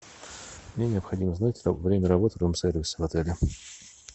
мне необходимо знать время работы рум сервиса в отеле